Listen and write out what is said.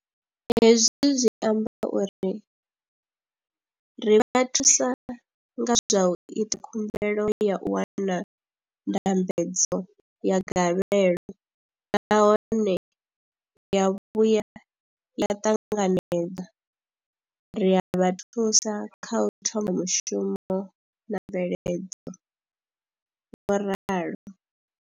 Hezwi zwi amba uri ri vha thusa nga zwa u ita khumbelo ya u wana ndambedzo ya gavhelo nahone ya vhuya ya ṱanganedzwa, ri a vha thusa kha u thoma mushumo na mveledzo, vho ralo.